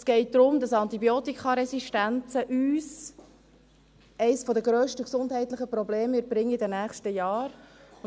Es geht darum, dass uns Antibiotikaresistenzen eines der grössten gesundheitlichen Probleme in den nächsten Jahren bringen werden.